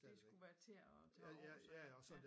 Det skulle være til at tage over sådan ja